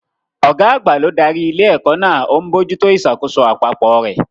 Ọ̀gá àgbà ló darí ilé-ẹ̀kọ́ náà, ó ń bójú tó ìṣàkóso àpapọ̀ rẹ̀.